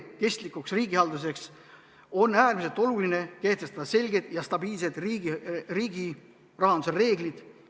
Kestlikuks riigihalduseks on äärmiselt oluline kehtestada selged ja stabiilsed riigi rahanduse reeglid.